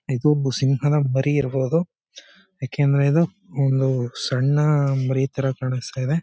ಇದು ಭೂ ಸಿಂಹನ ಮರಿ ಇರಬಹುದು. ಯಾಕಂದ್ರೆ ಇದು ಒಂದು ಸಣ್ಣ ಮರಿ ತರ ಕಾಣಸ್ತಾ ಇದೆ.